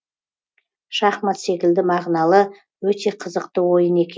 шахмат секілді мағыналы өте қызықты ойын екен